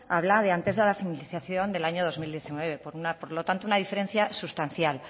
habla de antes de la finalización del año dos mil diecinueve por lo tanto una diferencia sustancial